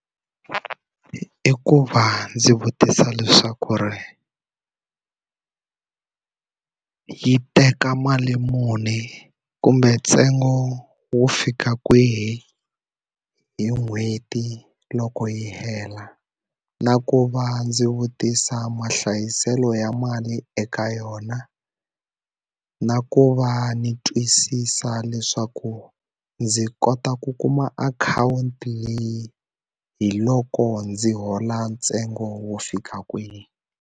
I ku va ndzi vutisa leswaku ri yi teka mali muni, Kumbe ntsengo wo fika kwihi hi n'hweti loko yi hela? Na ku va ndzi vutisa mahlayiselo ya mali eka yona, na ku va a ndzi twisisa leswaku ndzi kota ku kuma akhawunti leyi hi loko ndzi hola ntsengo wo fika kwihi.